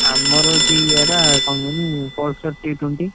ଆମର ହଉଛି ଇଏ ବା କଣ କହନି Pulsar two twenty